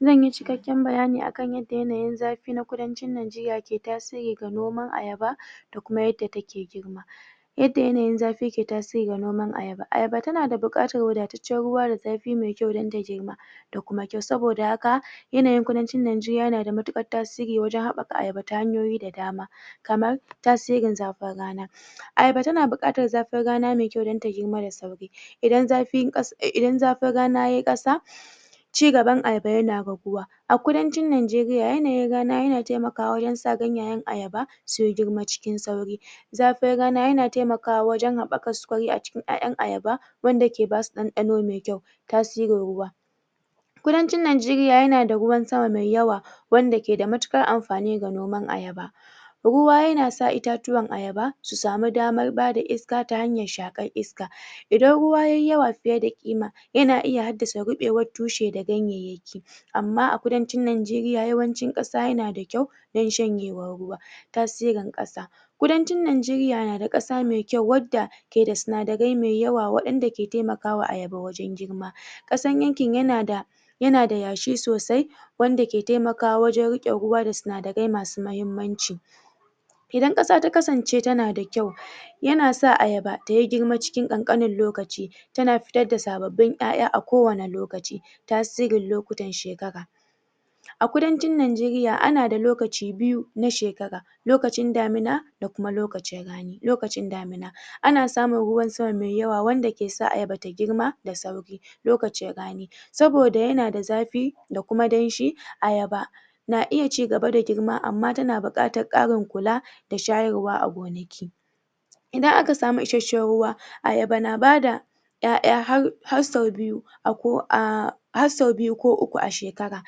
Zan yi cikeken bayani akan yarda yanayin zafi da kudin cinnan jiya de tasiri da noman ayaba da kuma yarda take girma da kuma yarda take girma, yadda yanayin zafi yake tasiri da noman ayaba. Ayaba tana da bukatan wadacecen ruwa da zafi mai kyau kyau don ta girma sa boda haka yanayin kudancin Najeriya yana da mutubar tasiri wajen habbakar ayaba hanyoyi da dama Kaman tasirin zafin rana ayaba tana bukkatan zafin rana mai kyau dan ta girma da sauri idan zafin rana yayi kasa ci gaban ayaba yana raguwa a kudancin Najeriya yana taimaka wujen sa gayenkan ayaba su girma cikin sauri zafin rana yana taimaka wujen haba kwaskwari a wujen aiain ayaba wanda ke basu dandano mai kyau, tasirin ruwa Kudancin Najeriya yana da ruwan sama mai yawa, wanda ke da mutukar amfani ga noman ayaba ayaba ruwa yana sa itatuwan ayaba su sami daman ba da iska ta hanyan shakan iska idan ruwa yayi yawa fiye da kima, yana iya sa tushe da ganyeyaki amma a farancin Najeriya, farancin kasa yana da kyau. sa yana da dan shanyewan ruwa ta sirin kasa Kudancin Najeriya na da kasa mai kyau wadda ke da tsunadarai mai yawa, wadanda ke taimaka wa ayaba wajen girma kasan yankin yana da yashi sosai wanda ke taimakawa wujen rike ruwa da tsunadarai masu mahimmanci idan kasa ta kasance na da kyau, yana sa ayaba tayi girma cikin kankanin lokaci, tana fitar da sabbabin aiai a kowani lokaci, tasirin lokutan shekara A kudancin Najeriya ana da lokaci biyu na shekara. lokacin damina da kuma lokacin rana Ana samun ruwana sama mai yawa wanda ke sa ayaba ta girma da sauki lokacin rani soboda yana da zafi da kuma dan shi ayaba na iya cigaba da girma amma ta na bukattan karin kula da shayarwa a gonaki idan aka sami ishasen ruwa ayaba na ba da aiai har so biyu ko uku a shekara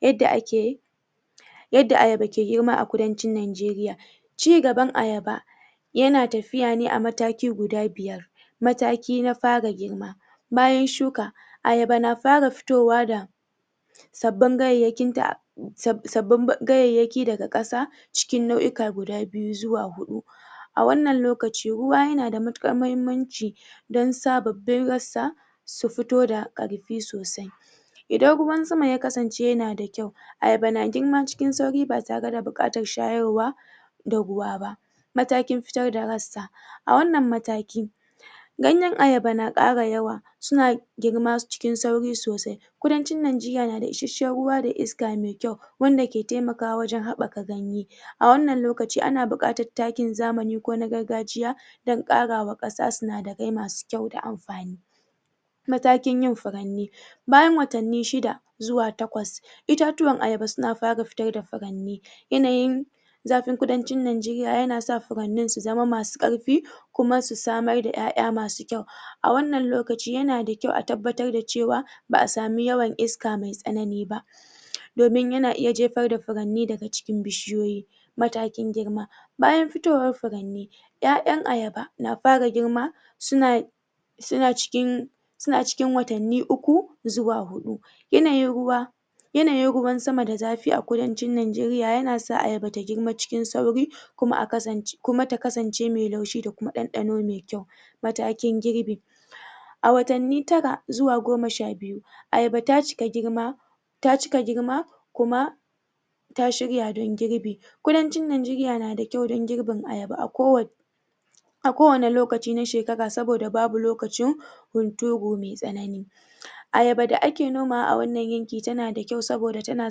yadda ake yi yarda ayaba ke girma a kudancin Najeriya ci gaban ayaba yana tafiya ne a mataki guda biyar mataki na fara girma bayan shuka ayaba na fara fitowa da bayangayeyin ta tsab gayeyaki daga kasa cikin nau'ika guda biyu zuwa hudu a wanna lokaci, ruwa yana da mutukar mahimmanci do sabbabin gansa su fito da karfi sosai idan ruwan sama ya kasance yana da kyau ayaba na girma cikin sauri ba tare da bukatan shayarwa da ruwa ba matakin fitar da ransa a wannan mataki ganyen ayaba na kara yawa suna girma cikin sauri sosai kudancin Najeriya da isashen ruwa da iska mai kyau wanda ke taimakawa wajen habbaka ganye a wannan lokaci ana bukatan takin zamani ko na gargajiya dan kara ma kasa tsunadarai masu kyau da amfani matakin yin furanye bayan watani shida zuwa takwas, ittachuwan ayaba suna fara fitar da faranni yanayin zafin kudancin Najeriya yana sa furnanyin zu zama masu karfi kuma su sadai da aiai masu kyau. a wannan lokaci yana da kyau a tabbatar da cewa ba'a samu yawan iska mai tsanani ba domin yana iya jefar da kurarmi daga cikin bishiyoyi matakin girma bayan fitowan furarnin ai'ain ayaba na fara girma suna suna cikin suna cikin watanni uku zuwa hudu yanayin ruwa yanayin ruwan sama da zafin kudancin Najeriya na sa ayaba ta girma cikin sauri kuma ta kasance mai laushi da dandano mai kyau kuma ta kasance mai laushi kuma da dandano mai kyau matakin girni a watane tara zuwa goma sha biyu ayaba ta cika girma ta cika girma, kuma ta shirya don girbi. kudancin najeriya na da kyau don girbin ayaba a kowana a kowani lokaci na shekara soboda bau a kowani lokaci na shekara sobada babu lokacin gunturi mai tsanani ayaba da ake nomawa a wannan yanki ta na da kyau soboda tana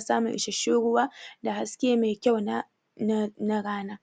samun isashen ruwa da haske mai kyau na rana da haske mai kyau na rana